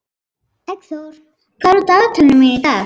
Eggþór, hvað er á dagatalinu mínu í dag?